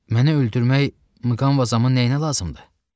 Məni öldürmək Mqanvazamın nəyinə lazımdır?